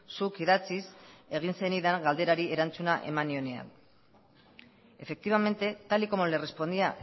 zuk idatziz egin zenidan galderari erantzuna eman nionean efectivamente tal y como le respondía